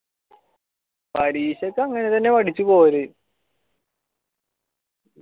പരീക്ഷക്ക് അങ്ങനെ പഠിച്ചു പോയാല്